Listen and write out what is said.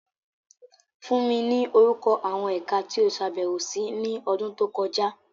Fun mi ni orukọ awọn Ẹka ti o ṣabẹwo si ni ọdun to kọja!